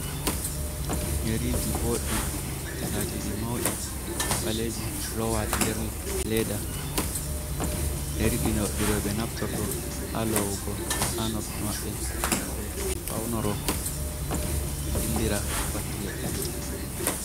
Yariiji booɗɗe laatiiɗi mawɗi ɓaleeji loowaaɗi nder leeda, yari ɗi rewɓe naftorto haa loowugo haa noppi maɓɓe ngam ɓe fawnoro ɓe dillira pattule.